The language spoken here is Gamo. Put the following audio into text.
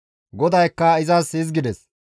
GODAYKKA izas hizgides,